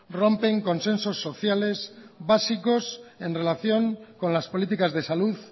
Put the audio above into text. rompen consensos sociales básicos en relación con las políticas de salud